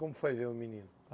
Como foi ver o menino?